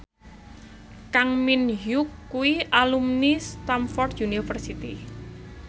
Kang Min Hyuk kuwi alumni Stamford University